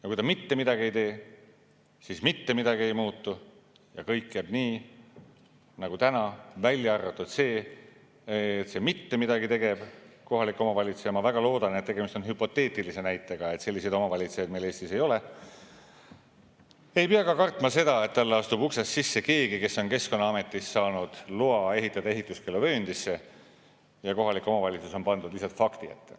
Ja kui ta mitte midagi ei tee, siis mitte midagi ei muutu ja kõik jääb nii nagu täna, välja arvatud see, et see mitte midagi tegev kohalik omavalitsus – ma väga loodan, et tegemist on hüpoteetilise näitega ja et selliseid omavalitsusi meil Eestis ei ole – ei pea ka kartma seda, et tema juurde astub uksest sisse keegi, kes on Keskkonnaametist saanud loa ehitada ehituskeeluvööndisse, ja kohalik omavalitsus on pandud lihtsalt fakti ette.